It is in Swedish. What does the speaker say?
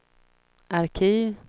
arkiv